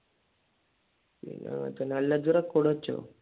പിന്നെ അല്ല ഇജ്ജ് record വെച്ചോ?